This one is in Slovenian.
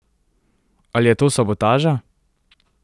Ali je to sabotaža?